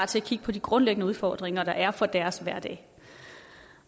til at kigge på de grundlæggende udfordringer der er for deres hverdag